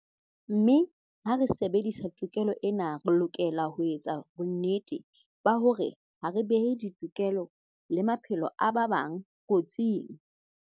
Mme ha re sebedisa tokelo ena, re lokela ho etsa bonnete ba hore ha re behe ditokelo le maphelo a ba bang kotsing.